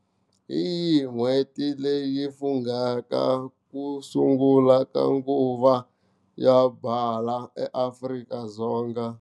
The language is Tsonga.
Hiyi n'hweti leyi fungaka ku sungula ka nguva ya byala eAfrika-Dzonga ?